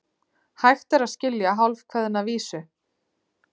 Hægt er að skilja hálfkveðna vísu.